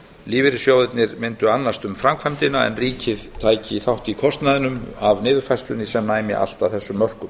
lífeyrissjóðirnir mundu annast um framkvæmdina en ríkið tæki þátt í kostnaðinum af niðurfærslunni sem næmi allt að þessum mörkum